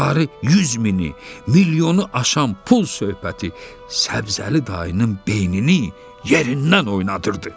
Miqdarı 100 mini, milyonu aşan pul söhbəti Səbzəli dayının beynini yerindən oynadırdı.